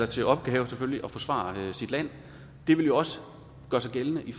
til opgave at forsvare landet det ville jo også gøre sig gældende i